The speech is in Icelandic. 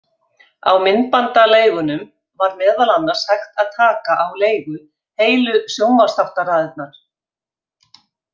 Á myndbandaleigunum var meðal annars hægt að taka á leigu heilu sjónvarpsþáttaraðirnar.